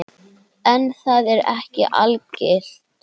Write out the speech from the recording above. En það er ekki algilt.